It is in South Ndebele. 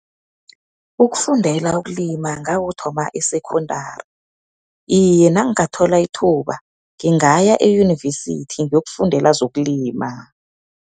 Ukufundela ukulima ngakuthoma e-secondary. Iye, nangingathola ithuba, ngingaya eyunivesithi, ngiyokufundela zokulima.